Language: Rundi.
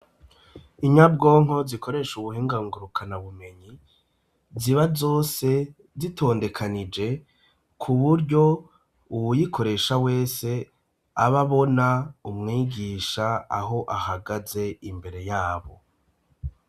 Inyabwonko zikoresha ubuhingangurukanabumenyi ,ziba zose zitondekanije ku buryo uwuyikoresha wese ababona umwigisha aho ahagaze imbere yabo.